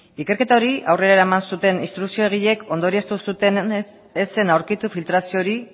ikerketa hori aurrera eraman zuten instrukziogileek ondorioztatu zutenez ez zen aurkitu filtrazio hori